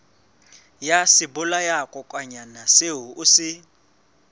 ya sebolayakokwanyana seo o se